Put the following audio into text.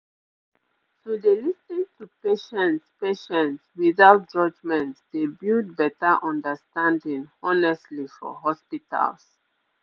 to dey lis ten to patients patients without judgement dey build better understanding honestly for hospitals